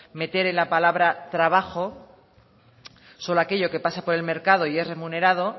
meter en la palabra trabajo solo aquello que pasa por el mercado y es remunerado